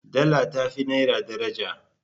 Dala ta fi naira daraja.